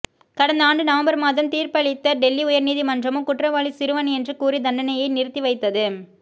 கடந்த ஆண்டு நவம்பர் மாதம் தீர்ப்பளித்த டெல்லி உயர் நீதிமன்றமோ குற்றவாளி சிறுவன் என்று கூறி தண்டனையை நிறுத்தி வைத்தது